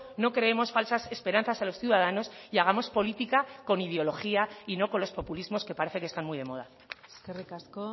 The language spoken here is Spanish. no creemos falsas esperanzas a los ciudadanos y hagamos política con ideología y no con los populismos que parece que están muy de moda eskerrik asko